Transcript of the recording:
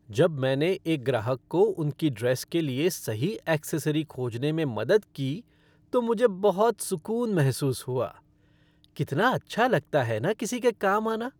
जब मैंने एक ग्राहक को उनकी ड्रेस के लिए सही एक्सेसरी खोजने में मदद की, तो मुझे बहुत सुक़ून महसूस हुआ। कितना अच्छा लगता है न किसी के काम आना?